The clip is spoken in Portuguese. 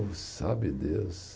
Sabe Deus.